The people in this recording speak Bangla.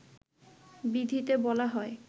বিধিতে বলা হয়